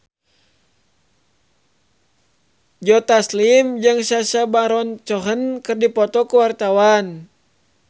Joe Taslim jeung Sacha Baron Cohen keur dipoto ku wartawan